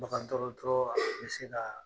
Bagandɔrɔtɔrɔ be se kaa